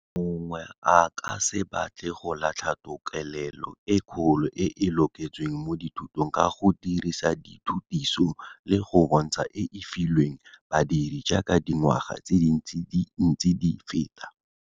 Mongwe a ka se batle go latlha tokelelo e kgolo e e loketsweng mo dithutong ka go dirisa dithutiso le go bontsha e e filweng badiri jaaka dingwaga tse dintsi di ntse di feta.